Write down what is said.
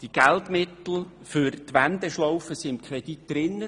Die Geldmittel für die Wendeschlaufe sind im Kredit enthalten;